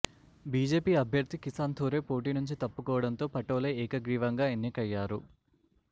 BJP అభ్యర్థి కిసాన్ థోరే పోటీ నుంచి తప్పుకోవడంతో పటోలే ఏకగ్రీవంగా ఎన్నికయ్యారు